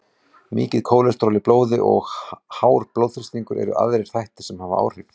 Mikið kólesteról í blóði og hár blóðþrýstingur eru aðrir þættir sem hafa áhrif.